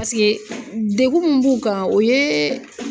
Paseke ,degun min b'u kan, o ye